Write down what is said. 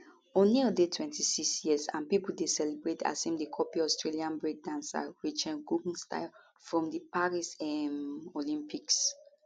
oneill dey 26 years and pipo dey celebrate as im dey copy australian breakdancer rachael gunn style from di paris um olympics